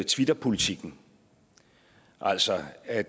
twitterpolitikken altså at